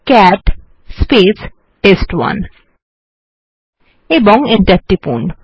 cat test one ও enter টিপুন